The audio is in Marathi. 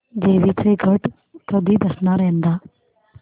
देवींचे घट कधी बसणार यंदा